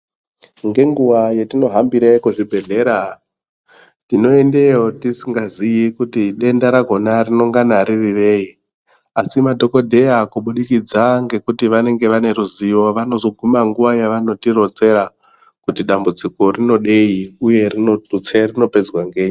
Ngenguwa yetinohambira kuzvibhehlera tinoendeyo tisingazii kuti denda rakona rinonga ririrei asi madhokodheya kubudikidza ngekuti vanenge vaneruziyo vazoguma nguwa yavanotironzera kuti dambudziko rinoidei uye detse rinopedzwa ngei .